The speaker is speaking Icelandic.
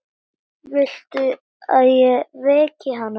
Viltu að ég veki hana?